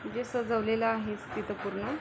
जे सजवलेल आहेच तिथ पूर्ण.